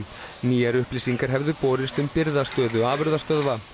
nýjar upplýsingar hefðu borist um birgðastöðu afurðastöðva